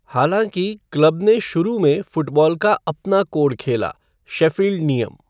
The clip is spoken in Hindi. हालांकि, क्लब ने शुरू में फ़ुटबॉल का अपना कोड खेला, शेफ़ील्ड नियम।